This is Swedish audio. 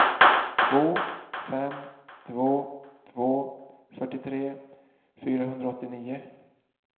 två fem två två fyrtiotre fyrahundraåttionio